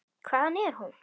Hvaðan er hún?